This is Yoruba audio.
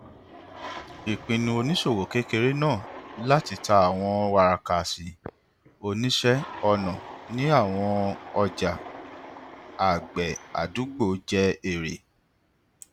ìpinnu oníṣòwò kékeré náà láti ta àwọn wàràkàṣì oníṣẹ ọnà ní àwọn ọjà àgbẹ àdúgbò jẹ èrè